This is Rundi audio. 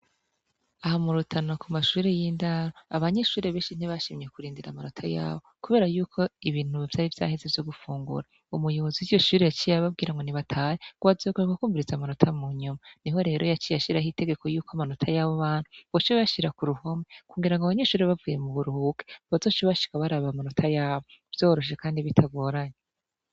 Aha murutana kumashure yindaro abanyeshure benshi ntibashimye kurindira amanato yabo kubera yuko ibintu vyari vyaheze vyo gufungura umuyobozi wiryo shure yaciye ababwira ngo batahe rwazogaruka kumyiriza amanota munyuma niho rero yaciye ashira itegeko yuko abanota yabo bana boca bayashira kuruhome kugirango abanyeshure bavuye muburuhuko bazoce bashika baraba amanota yabo vyoroshe kandi bitagoranye